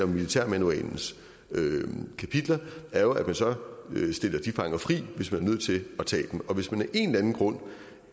militærmanualens kapitler er jo at man så stiller de fanger frit hvis man er nødt til at tage dem og hvis man af en eller anden grund